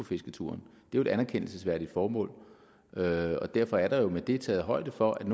fisketuren det er jo et anerkendelsesværdigt formål og derfor er der jo med det taget højde for at